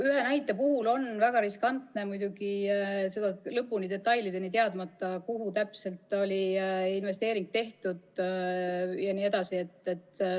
Ühte näidet on väga riskantne kommenteerida, kui pole detailselt teada, kuhu täpselt oli investeering tehtud jne.